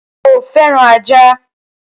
Sọ fẹ́ràn ajá?